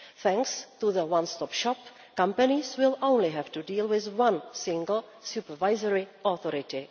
Thanks to the one stop shop, companies will only have to deal with one single supervisory authority.